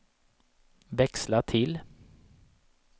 växla till